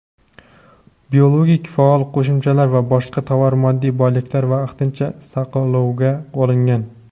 biologik faol qo‘shimchalar va boshqa tovar-moddiy boyliklar vaqtincha saqlovga olingan.